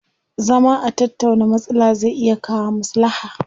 Zama a tattauna matsala zai iya kawo maslaha.